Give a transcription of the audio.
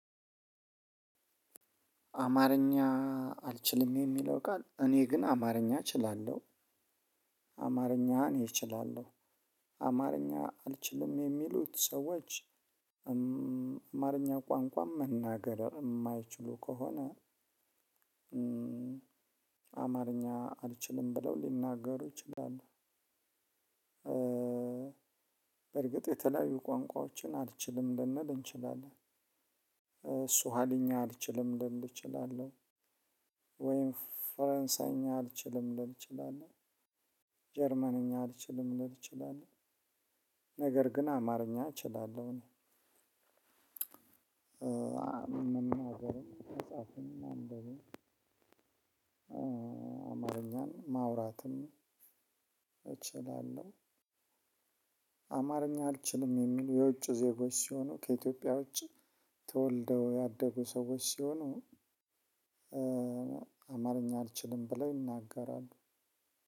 አማርኛ አልችልም የሚለው ቃል እኔ ግን አማርኛ እችላለሁ። አማርኛ እኔ እችላለሁ። አማርኛ አልችልም የሚሉት ሰዎች። አማርኛ ቋንቋን መናገር እማይችሉ ከሆነ። አማርኛ አልችልም ብለው ሊናገሩ ይችላሉ። በእርግጥ የተለያዩ ቋንቋዎችን አልችልም ልንል እንችላለን። ሱሃሊኛ አልችልም ልል እችላለሁ። ወይም ፈረንሳይኛ አልችልም ልል እችላለሁ። ጀርመንኛ አልችልም ልል እችላለሁ። ነገር ግን አማርኛ እችላለሁኝ። እኔ እናገርም አጻፍንና እንደው አማርኛን ማውራትም እችላለሁ። አማርኛ አልችልም የሚሉ የውጭ ዜጎች ሲሆኑ ከኢትዮጵያ ውጭ ተወልደው ያደጉ ሰዎች ሲሆኑ። አማርኛ አልችልም ብለው ይናገራሉ።